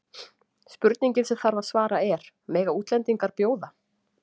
Spurningin sem þarf að svara er: Mega útlendingar bjóða?